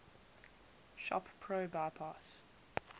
shop pro bypass